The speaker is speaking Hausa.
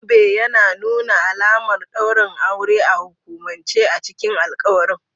Zobe ya nuna alamar daurin aure a hukumance, a cikin alƙawarin.